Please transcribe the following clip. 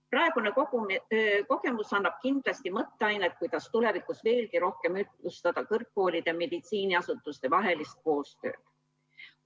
Praegune kogemus annab kindlasti mõtteainet, kuidas tulevikus veelgi rohkem ühtlustada kõrgkoolide ja meditsiiniasutuste vahelist koostööd.